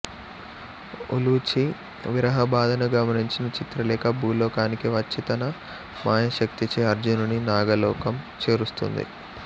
ఉలూచి విరహబాధను గమనించిన చిత్రలేఖ భూలోకానికి వచ్చి తన మాయాశక్తిచే అర్జునుని నాగలోకం చేరుస్తుంది